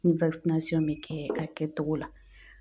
Ni bɛ kɛ a kɛtogo la